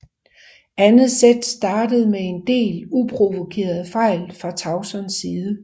Andet sæt startede med en del uprovokerede fejl fra Tausons side